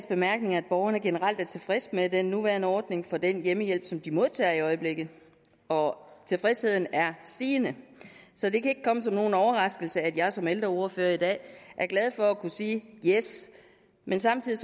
bemærkninger at borgerne generelt er tilfredse med den nuværende ordning for den hjemmehjælp som de modtager i øjeblikket og tilfredsheden er stigende så det kan ikke komme som nogen overraskelse at jeg som ældreordfører i dag er glad for at kunne sige yes men samtidig